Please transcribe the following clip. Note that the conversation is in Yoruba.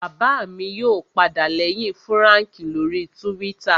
Bàbá mi yóò padà lẹ́yìn Fúràǹkì lórii túwítà